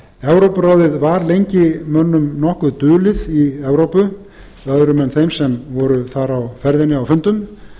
evrópuráðið var lengi mönnum nokkuð dulið í evrópu öðrum en þeim sem voru þar á ferðinni á fundum